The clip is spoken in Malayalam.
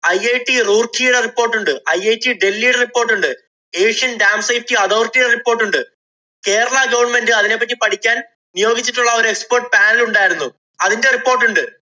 IIT റൂര്‍ക്കിയുടെ report ഉണ്ട്. IIT ഡല്‍ഹിയുടെ report ഉണ്ട്. asian damsite authority യുടെ report ഉണ്ട്. കേരള government അതിനെപ്പറ്റി പഠിക്കാന്‍ നിയോഗിച്ചിട്ടുള്ള ഒരു expert panel ഉണ്ടായിരുന്നു. അതിന്‍റെ report ഉണ്ട്.